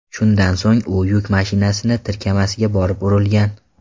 Shundan so‘ng u yuk mashinasi tirkamasiga borib urilgan.